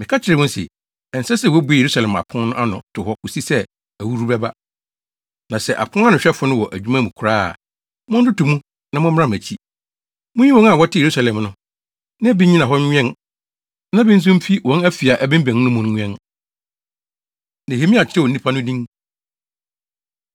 Meka kyerɛɛ wɔn se, “Ɛnsɛ sɛ wobue Yerusalem apon no ano to hɔ kosi sɛ ahuhuru bɛba. Na sɛ aponanohwɛfo no wɔ adwuma mu koraa a, montoto mu na mommram akyi. Munyi wɔn a wɔte Yerusalem no, na bi nnyina hɔ nnwɛn na bi nso mfi wɔn afi a ɛbemmɛn no mu nwɛn.” Nehemia Kyerɛw Nnipa No Din